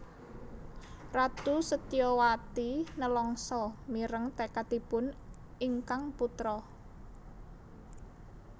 Ratu Setyawati nelangsa mireng tekadipun ingkang putra